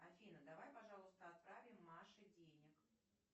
афина давай пожалуйста отправим маше денег